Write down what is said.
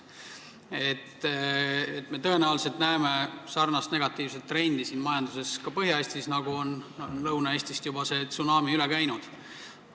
Me näeme tõenäoliselt ka Põhja-Eesti majanduses sarnast negatiivset trendi, nagu see tsunami, mis on Lõuna-Eestist juba üle käinud.